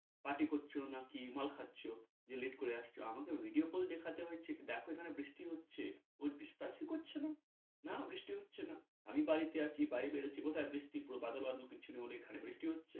party করছ নাকি মাল খাচ্ছ যে late করে আসছ আমাকে video দেখাতে হচ্ছে দেখ এখানে বৃষ্টি হচ্ছে ও বিশ্বাসই করছেনা না বৃষ্টি হচ্ছেনা আমি বাড়ীতে আছি বাইরে বেরুচ্ছি কোথায় বৃষ্টি কোন বাদল বাদল কিছু নেই এখানে বৃষ্টি হচ্ছে।